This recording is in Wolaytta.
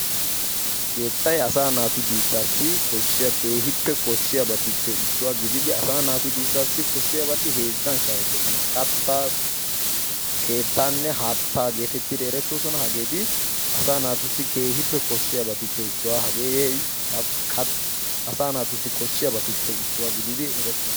keettay assa naatu duussasi keehi koshiya yohotuppe issuwa.